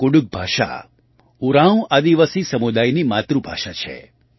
કુડુખ ભાષા ઉરાંવ આદિવાસી સમુદાયની માતૃભાષા છે